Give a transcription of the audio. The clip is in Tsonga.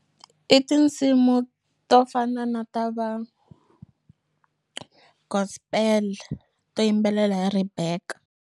I tinsimu to fana na ta va gospel to yimbelela hi Rebecca.